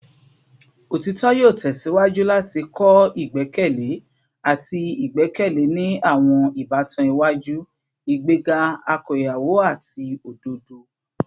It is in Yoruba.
Otitọ yoo tẹsiwaju lati kọ igbẹkẹle ati igbẹkẹle ni awọn ibatan iwaju, igbega akoyawo ati ododo